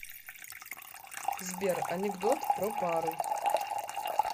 сбер анекдот про пару